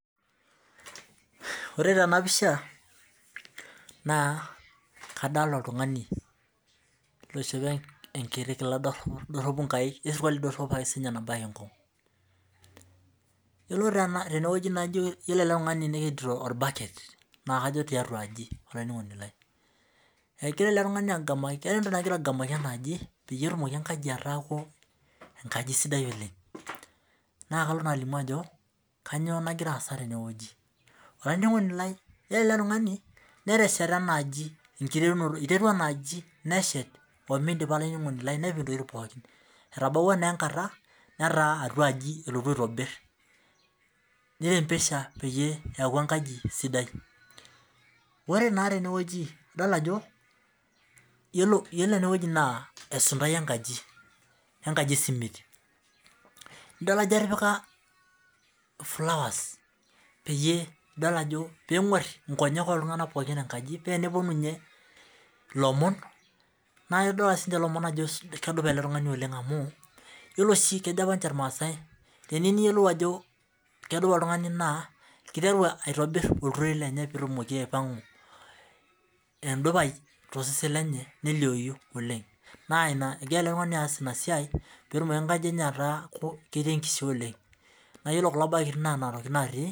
Ore tenapisha na kadolta oltungani oishopo enkiti kila doropu nabaki nkung yiolo tenewueji ore eletungani nekedito orbaket nakajo tiatua aji olaininingoni laii keeta entoki nagira agamaki petumoki aataku enkaji sidai oleng nakalo alimu ajo kanyio nagira aasa tenewueji olaininingoni lai ore eletungani iterua enaaji meshes omidipa enaaji nepik ntokitin pokki etabawua naa enkata naataa atuaji elotu aitobir nirembesha peaku enkaji sidai ore na tenewueji idol ajo yiolo enewueji na esundai enkaji esimiti nidol ajo etipika flowers peyie idol ajo penguer nkonyek oltunganak pookin ennakji pa eneponu lomon naidol ake lomon ajo kegual eletungani amu yiolo si kejo apa nche irmaasai teniyieu niyiolou ajo kedupa oltungani kiteru aitobir oltiren lenye na egira eletungani aas inasia petumoki enkaji enye ataa ketii enkishaa oleng na ore kulo baketi na nona tokitin natii